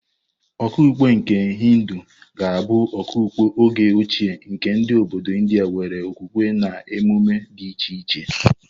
Okpukpe nke Hindu ga-abụ okpukpe oge ochie nke ndị obodo India nwere okwukwe na emume dị iche iche.